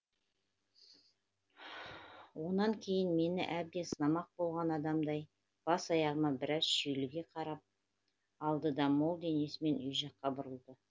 онан кейін мені әбден сынамақ болған адамдай бас аяғыма біраз шүйліге қарап алды да мол денесімен үй жаққа бұрылды